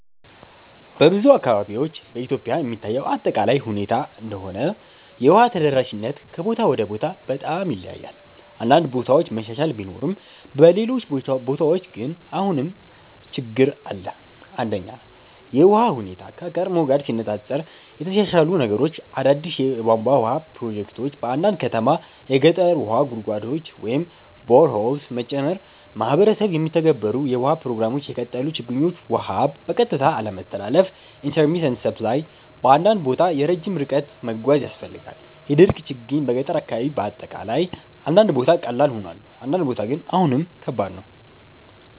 በብዙ አካባቢዎች (በኢትዮጵያ የሚታይ አጠቃላይ ሁኔታ እንደሆነ) የውሃ ተደራሽነት ከቦታ ወደ ቦታ በጣም ይለያያል። አንዳንድ ቦታ መሻሻል ቢኖርም በሌሎች ቦታዎች ግን አሁንም ችግኝ አለ። 1) የውሃ ሁኔታ (ከቀድሞ ጋር ሲነፃፀር) የተሻሻሉ ነገሮች አዳዲስ የቧንቧ ውሃ ፕሮጀክቶች በአንዳንድ ከተሞች የገጠር ውሃ ጉድጓዶች (boreholes) መጨመር ማህበረሰብ የሚተገበሩ የውሃ ፕሮግራሞች የቀጠሉ ችግኞች ውሃ በቀጥታ አለመተላለፍ (intermittent supply) በአንዳንድ ቦታ ረጅም ርቀት መጓዝ ያስፈልጋል የድርቅ ችግኝ በገጠር አካባቢ አጠቃላይ አንዳንድ ቦታ ቀላል ሆኗል፣ አንዳንድ ቦታ ግን አሁንም ከባድ ነው።